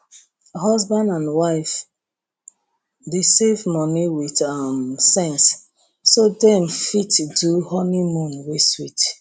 husband and wife dey save money with um sense so dem go fit do honeymoon wey sweet